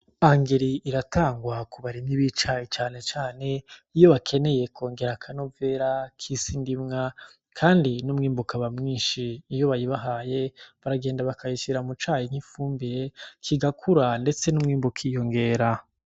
Angeri iratangwa kubarimyi b'icayi cane cane iyo bakeneye kwongera akanovera k'isi ndimwa kandi n'umwimbu ukaba mwinshi. Iyo bayibahaye, baragenda bakayishira mu cayi nk'ifumbire, kigakura ndetse n'umwimbu ukiyongera.